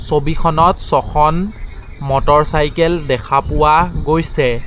ছবিখনত ছখন মটৰচাইকেল দেখা পোৱা গৈছে।